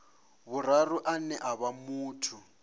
vhuraru ane a vha muthu